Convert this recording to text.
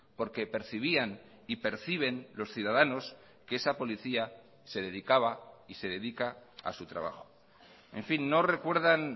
porque percibían y perciben los ciudadanos que esa policía se dedicaba y se dedica a su trabajo en fin no recuerdan